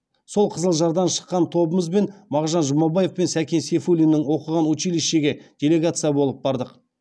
сол қызылжардан шыққан тобымызбен мағжан жұмабаев пен сәкен сейфуллиннің оқыған училищеге делегация болып бардық